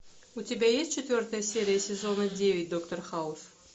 у тебя есть четвертая серия сезона девять доктор хаус